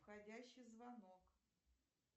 входящий звонок